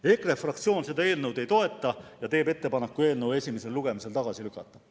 " EKRE fraktsioon seda eelnõu ei toeta ja teeb ettepaneku eelnõu esimesel lugemisel tagasi lükata.